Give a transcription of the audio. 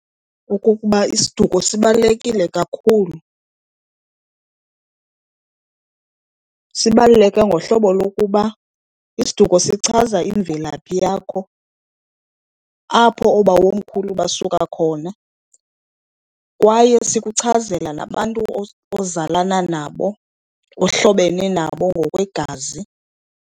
Okokuba isiduko sibalulekile kakhulu, sibaluleke ngohlobo lokuba isiduko sichaza imvelaphi yakho, apho oobawomkhulu basuka khona. Kwaye sikuchazela nabantu ozalana nabo, ohlobene nabo ngokwegazi.